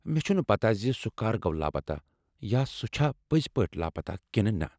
مےٚ چھنہٕ پتہ زِ سُہ کَر گوٚو لاپتہ یا سُہ چھا پٔزۍ پٲٹھۍ لاپتہ کِنہٕ نہٕ۔